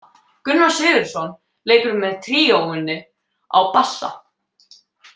Gunnar Sigurðsson leikur með tríóinu á bassa.